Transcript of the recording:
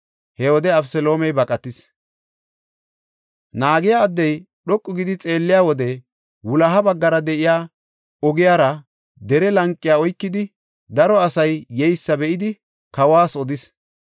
He wode Abeseloomey baqatis. Naagiya addey dhoqu gidi xeelliya wode wuloha baggara de7iya ogiyara dere lanqiya oykidi daro asay yeysa be7idi kawas odis.